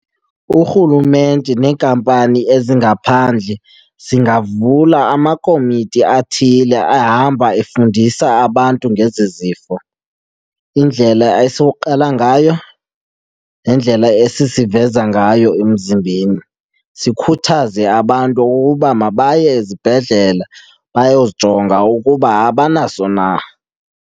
URhulumente neenkampani ezingaphandle zingavula amakomiti athile ahamba efundisa abantu ngezi zifo, indlela esuqala ngayo nendlela esisiveza ngayo emzimbeni. Sikhuthaze abantu ukuba mabaye ezibhedlele bayozijonga ukuba abanaso na.